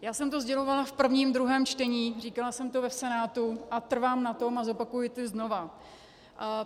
Já jsem to sdělovala v prvním, druhém čtení, říkala jsem to v Senátu a trvám na tom a zopakuji to znova.